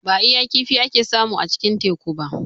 Ba iya kifi ake samu a cikin Teku ba.